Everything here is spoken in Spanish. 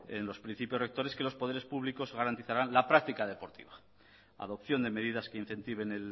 en los principios rectores que los poderes públicos garantizarán la práctica deportiva adopción de medidas que incentiven